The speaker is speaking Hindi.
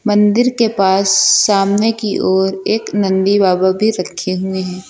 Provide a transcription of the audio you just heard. मंदिर के पास सामने की ओर एक नंदी बाबा भी रखें हुए हैं।